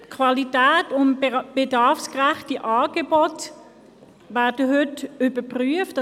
Die Qualität, die Qualitätskriterien und die bedarfsgerechten Angebote werden heute überprüft.